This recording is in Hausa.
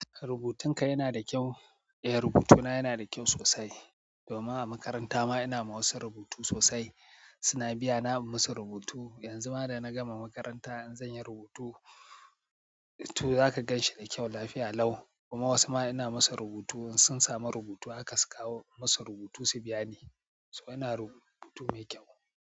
Rubutunka yana da kyau. Rubutuna yana da kyau sosai. Domin a makaranta ma ina ma wasu rubutu sosai. Suna biyana in musu rubutu. Yanzu ma da na gama makaranta in zan yi rubutu to za ka ganshi da kyau lafiya lau. Kuma wasu ma ina masu rubutu in sun samu rubutu haka su kawo musu rubutu su biya ni. So ina rubutu mai kyau.